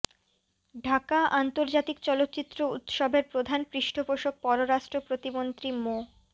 ঢাকা আন্তর্জাতিক চলচ্চিত্র উৎসবের প্রধান পৃষ্ঠপোষক পররাষ্ট্র প্রতিমন্ত্রী মো